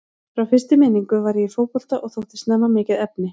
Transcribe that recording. Frá fyrstu minningu var ég í fótbolta og þótti snemma mikið efni.